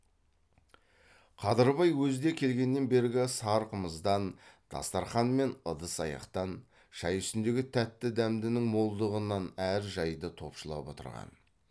қадырбай өзі де келгеннен бергі сар қымыздан дастарқан мен ыдыс аяқтан шай үстіндегі тәтті дәмдінің молдығынан әр жайды топшылап отырған